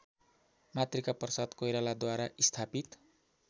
मातृकाप्रसाद कोइरालाद्वारा स्थापित